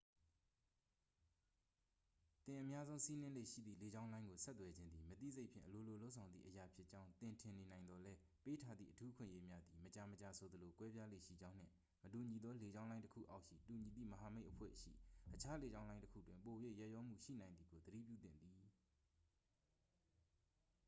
သင်အများဆုံးစီးနင်းလေ့ရှိသည့် လေကြောင်းလိုင်းကို ဆက်သွယ်ခြင်းသည် မသိစိတ်ဖြင့် အလိုလိုလုပ်ဆောင်သည့်အရာဖြစ်ကြောင်း သင်ထင်နေနိုင်သော်လည်း ပေးထားသည့် အထူးအခွင့်အရေးများသည် မကြာမကြာဆိုသလို ကွဲပြားလေ့ရှိကြောင်းနှင့် မတူညီသောလေကြောင်းလိုင်းတစ်ခုအောက်ရှိ တူညီသည့်မဟာမိတ်အဖွဲ့ရှိအခြားလေကြောင်းလိုင်းတစ်ခုတွင် ပို၍ ရက်ရောမှုရှိနိုင်သည်ကိုသတိပြုသင့်သည်